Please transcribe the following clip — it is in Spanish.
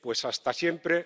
Hasta siempre.